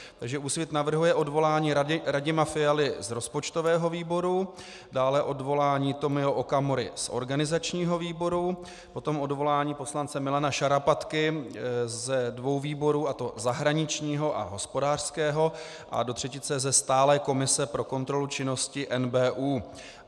Takže Úsvit navrhuje odvolání Radima Fialy z rozpočtového výboru, dále odvolání Tomio Okamury z organizačního výboru, potom odvolání poslance Milana Šarapatky ze svou výborů, a to zahraničního a hospodářského a do třetice ze stálé komise pro kontrolu činnosti NBÚ.